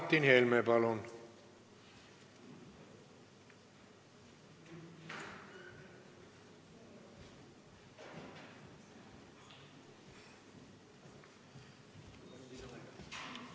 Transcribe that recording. Martin Helme, palun!